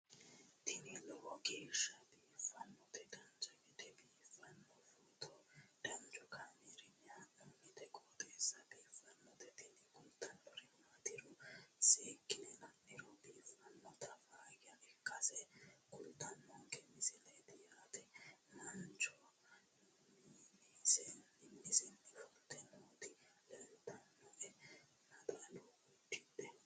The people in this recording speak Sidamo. tini lowo geeshsha biiffannoti dancha gede biiffanno footo danchu kaameerinni haa'noonniti qooxeessa biiffannoti tini kultannori maatiro seekkine la'niro biiffannota faayya ikkase kultannoke misileeti yaate mancho minisenni fulte nooti leeltannoe naxala uddidhe